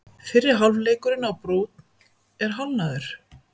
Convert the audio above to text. Fyrri hálfleikurinn á Brúnn er hálfnaður